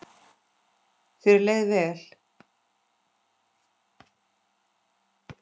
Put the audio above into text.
Þér leið vel.